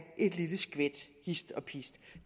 lille skvæt hist og pist